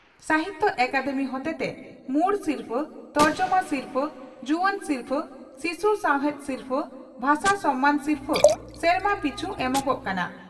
ᱥᱟᱦᱤᱛᱭᱚ ᱟᱠᱟᱫᱮᱢᱤ ᱦᱚᱛᱮᱛᱮ ᱢᱩᱲ ᱥᱤᱨᱯᱷᱟᱹ, ᱛᱚᱨᱡᱚᱢᱟ ᱥᱤᱨᱷᱟᱹ, ᱡᱩᱣᱟᱹᱱ ᱥᱤᱨᱯᱷᱟᱹ ᱥᱤᱥᱩ ᱥᱟᱶᱦᱮᱫ ᱥᱤᱨᱯᱷᱟᱹ, ᱵᱷᱟᱥᱟ ᱥᱚᱱᱢᱟᱱ ᱥᱤᱨᱯᱷᱟᱹ ᱥᱮᱨᱢᱟ ᱯᱤᱪᱷ ᱮᱢᱚᱜᱜ ᱠᱟᱱᱟ ᱾